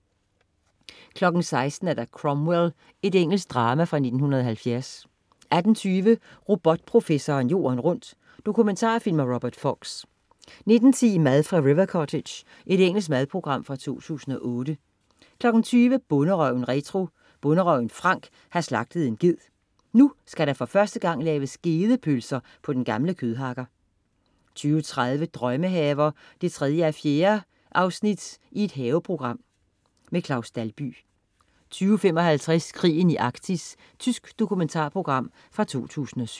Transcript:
16.00 Cromwell. Engelsk drama fra 1970 18.20 Robotprofessoren jorden rundt. Dokumentarfilm af Robert Fox 19.10 Mad fra River Cottage. Engelsk madprogram fra 2008 20.00 Bonderøven retro. Bonderøven Frank har slagtet en ged. Så nu skal der for første gang laves gedepølser på den gamle kødhakker 20.30 Drømmehaver 3:4. Haveprogram. Claus Dalby 20.55 Krigen i Arktis. Tysk dokumentarprogram fra 2007